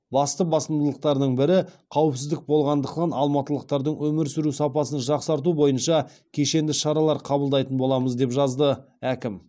басты басымдықтардың бірі қауіпсіздік болғандықтан алматылықтардың өмір сүру сапасын жақсарту бойынша кешенді шаралар қабылдайтын боламыз деп жазды әкім